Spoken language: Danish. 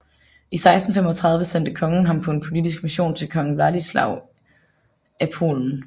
I 1635 sendte kongen ham på en politisk mission til kong Vladislav IV af Polen